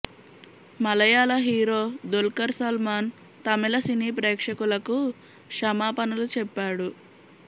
మలయాళ hero Dulquer Salmaan Tamil cine ప్రేక్షకులకు క్షమాపణలు చెప్పాడు